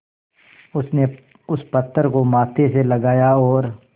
उसने उस पत्थर को माथे से लगाया और